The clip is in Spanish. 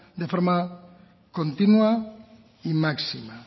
de forma continua y máxima